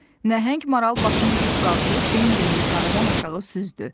Nəhəng maral başını dik qaldırıb Bembinin yuxarıdan aşağı süzdü.